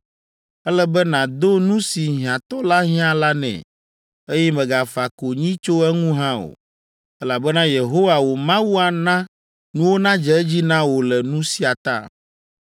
Ele be nàdo nu si hiãtɔ la hiã la nɛ, eye mègafa konyi tso eŋu hã o! Elabena Yehowa wò Mawu ana nuwo nadze edzi na wò le nu sia ta!